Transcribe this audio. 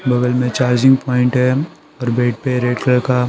बगल में charging point है और बेड पे रेड कलर का---